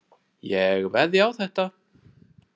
Ég veðjaði á þetta.